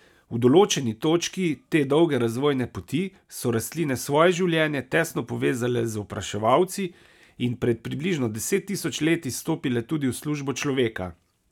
V določeni točki te dolge razvojne poti so rastline svoje življenje tesno povezale z opraševalci in pred približno deset tisoč leti stopile tudi v službo človeka.